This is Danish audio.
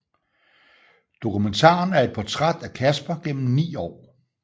Dokumentaren er et portræt af Casper gennem ni år